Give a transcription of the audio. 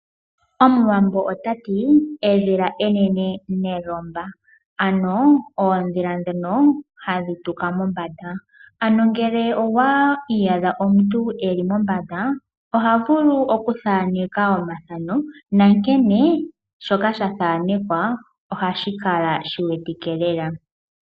Omuwambo ota ti edhila enene nelomba. Ano oondhila ndhono hadhi tuka mombanda . Ano omuntu okwiiyadha eli mombanda oha vulu oku thaaneka omathano. Naashoka sha thaanekwa ohashi kala shi wetike lela.